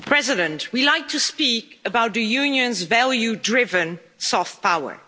Mr President, we like to speak about the Union's value driven soft power.